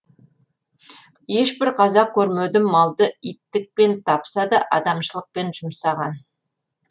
ешбір қазақ көрмедім малды иттікпен тапса да адамшылықпен жұмсаған